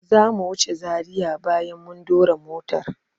Zamu wuce Zaria bayan mun dora motar.